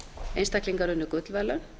einstaklingar unnu gullverðlaun